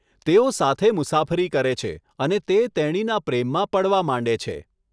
તેઓ સાથે મુસાફરી કરે છે અને તે તેણીના પ્રેમમાં પડવા માંડે છે.